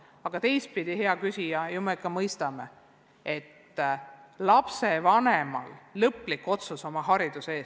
Aga teistpidi, hea küsija, me ju mõistame, et lapsevanemal on õigus teha lõplik otsus oma lapse hariduse kohta.